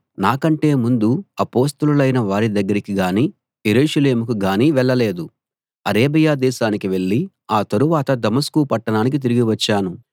నాకంటే ముందు అపొస్తలులైన వారి దగ్గరికి గానీ యెరూషలేముకు గానీ వెళ్ళలేదు అరేబియా దేశానికి వెళ్ళి ఆ తరువాత దమస్కు పట్టణానికి తిరిగి వచ్చాను